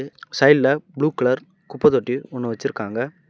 சைட்ல blue colour குப்ப தொட்டி ஒன்னு வச்ருக்காங்க.